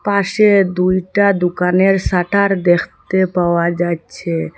পাশে দুইটা দুকানের শাটার দেখতে পাওয়া যাইচ্ছে ।